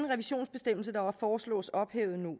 revisionsbestemmelse der nu foreslås ophævet når